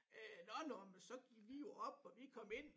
Øh nåh nåh men så gik vi jo op og vi kom ind